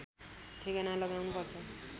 ठेगाना लगाउनु पर्छ